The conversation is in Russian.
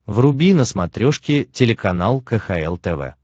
вруби на смотрешке телеканал кхл тв